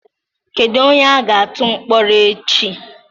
Kedu onye a ga-atụ mkpọrọ echi?